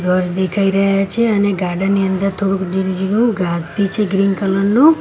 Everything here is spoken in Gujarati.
ઘર દેખાય રહ્યા છે અને ગાર્ડન ની અંદર થોડુક ઝીણુ ઝીણુ ઘાસ ભી છે ગ્રીન કલર નુ.